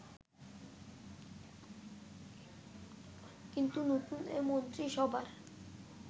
কিন্তু নতুন এই মন্ত্রিসভার